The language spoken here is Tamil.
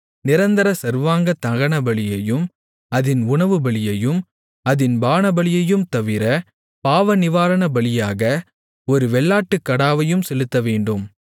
நிரந்தர சர்வாங்கதகனபலியையும் அதின் உணவுபலியையும் அதின் பானபலியையும் தவிர பாவநிவாரணபலியாக ஒரு வெள்ளாட்டுக்கடாவையும் செலுத்தவேண்டும்